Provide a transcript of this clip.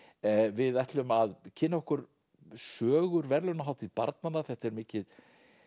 við ætlum að kynna okkur sögur verðlaunahátíð barnanna þetta er mikið